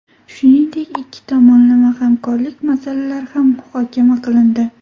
Shuningdek, ikki tomonlama hamkorlik masalalari ham muhokama qilindi.